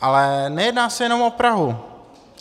Ale nejedná se jenom o Prahu.